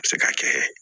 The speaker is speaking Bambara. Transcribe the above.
A bɛ se ka kɛ